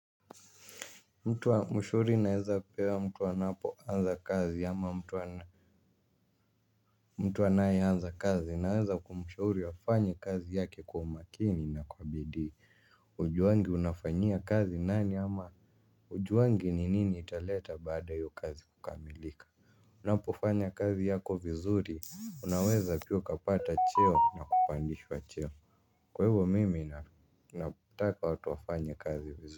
Mtu wa mashauri naeza pea mtu anapoanza kazi ama mtu anayeanza kazi naweza kumshauri afanye kazi yake kwa umakini na kwa bidii ujua wengi unafanyia kazi nani ama ujuwangi ni nini italeta baada ya io kazi kukamilika unapofanya kazi yako vizuri unaweza pia ukapata cheo na kupandishwa cheo kwaivo mimi nataka watu wafanye kazi vizuri.